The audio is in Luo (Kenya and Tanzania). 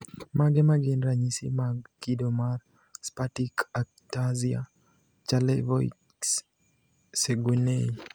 Mage magin ranyisi mag kido mar Spastic ataxia Charlevoix Saguenay?